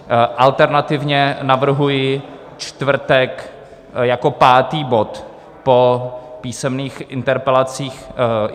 Alternativně navrhuji čtvrtek jako pátý bod po písemných interpelacích.